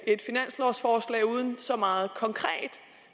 et finanslovforslag uden så meget konkret